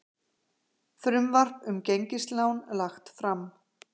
Frumvarp um gengislán lagt fram